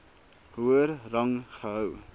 hoër rang gehou